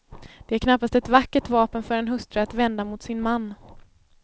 Det är knappast ett vackert vapen för en hustru att vända mot sin man.